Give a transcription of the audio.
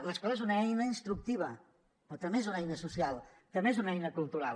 l’escola és una eina instructiva però també és una eina social també és una eina cultural